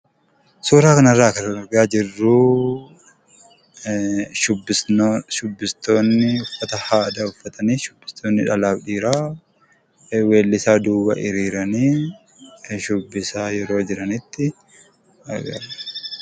Suuraa kanarraa kan argaa jirru shubbistoonni uffata aadaa uffatanii shubbistoonni dhalaa fi dhiiraa weellisaa duuba hiriiranii shubbisaa yeroo jiranitti agarsiisa.